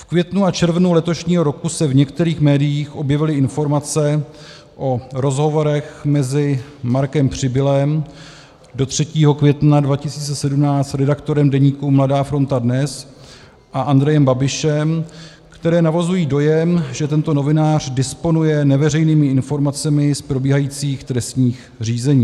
V květnu a červnu letošního roku se v některých médiích objevily informace o rozhovorech mezi Markem Přibylem, do 3. května 2017 redaktorem deníku Mladá Fronta Dnes, a Andrejem Babišem, které navozují dojem, že tento novinář disponuje neveřejnými informacemi z probíhajících trestních řízení.